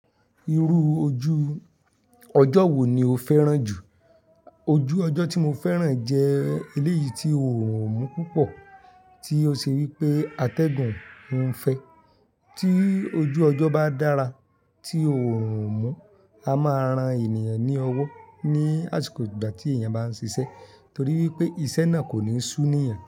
Irú ojú ọjọ́ wo ni o fẹ́ràn jù? Ojú ọjọ́ tí mo fẹ́ràn jẹ́ eléyìí tí o òrùn ò mú púpọ̀, tí ó ṣe wí pé atẹ́gùn ń fẹ̀. Tí ojú ọjọ́ bá dára, tí oòrùn ò mú, a máa ran ènìyàn ní owó ní àsìkò ìgbà tí èèyàn bá ń ṣiṣẹ́, torí wí pé iṣẹ́ náà kò ní súni èèyàn.